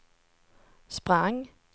sprang